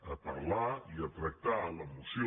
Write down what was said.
a parlar i a tractar en la moció